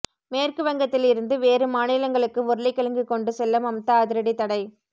மேற்கு வங்கத்தில் இருந்து வேறு மாநிலங்களுக்கு உருளைக் கிழங்கு கொண்டு செல்ல மம்தா அதிரடி தடை